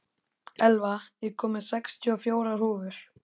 Elva, ég kom með sextíu og fjórar húfur!